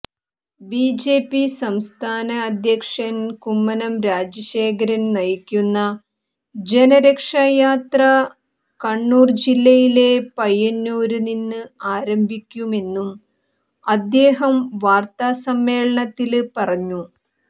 BJP സംസ്ഥാന അധ്യക്ഷന് കുമ്മനം രാജശേഖരന് നിയക്കുന്ന ജനരക്ഷായാത്ര കണ്ണൂര് ജില്ലയിലെ പയ്യന്നൂരില് നിന്ന് ആരംഭിക്കുമെന്നും അദ്ദേഹം വാര്ത്താസമ്മേളനത്തില് പറഞ്ഞു